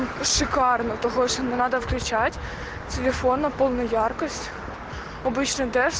шикарно того что не надо включать телефон на полну яркость обычно тест